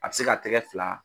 A bɛ se k'a tɛgɛ fila